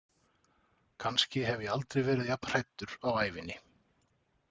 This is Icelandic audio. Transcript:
Kannski hef ég aldrei verið jafn hræddur á ævinni.